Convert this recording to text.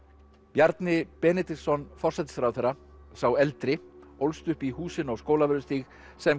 Bjarni Benediktsson forsætisráðherra sá eldri ólst upp í húsinu á Skólavörðustíg sem